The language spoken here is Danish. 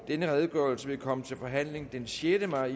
denne redegørelse vil komme til forhandling den sjette maj